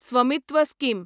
Svamitva scheme